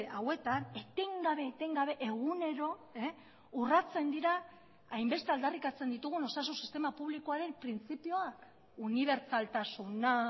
hauetan etengabe etengabe egunero urratsen dira hainbeste aldarrikatzen ditugun osasun sistema publikoaren printzipioak unibertsaltasuna